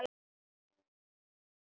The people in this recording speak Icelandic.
Hemmi finnur sjoppuna auðveldlega.